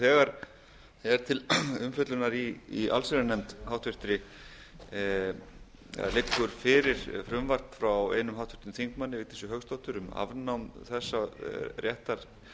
þegar er til umfjöllunar í háttvirta allsherjarnefnd eða liggur fyrir frumvarp frá einum háttvirtum þingmanni vigdísi hauksdóttur um afnám þessa réttar